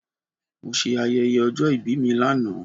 Mo se ayẹyẹ ọjọ́ ìbí mi lánàá